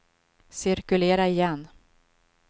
cirkulera igen